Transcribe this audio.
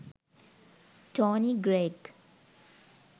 tony greig